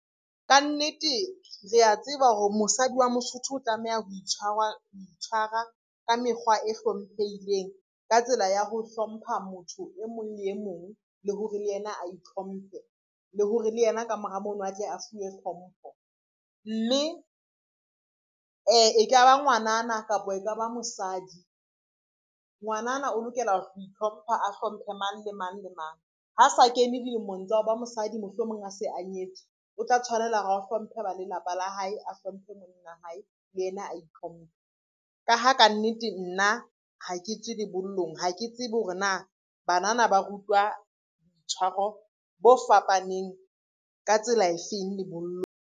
Kannete re a tseba hore mosadi wa Mosotho o tlameha ho itshwara ka mekgwa e hlomphehileng, ka tsela ya ho hlompha motho e mong le e mong, le hore le yena a itlhomphe le hore le yena ka mora mono a tle a fuwe hlompho, mme e ka ba ngwanana kapo e ka ba mosadi. Ngwanana o lokela ho itlhompha, a hlomphe mang le mang le mang, ha sa kene dilemong tsa ho ba mosadi mohlomong a se a nyetswe, o tla tshwanela hore a hlomphe ba lelapa la hae, a hlomphe monna wa hae le ena a itlhomphe, ka ha kannete nna ha ke tswe lebollong ha ke tsebe hore na banana ba rutwa boitshwaro bo fapaneng ka tsela e feng lebollong.